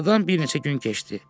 Aradan bir neçə gün keçdi.